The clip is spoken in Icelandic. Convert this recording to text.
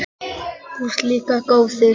Þú ert líka góður.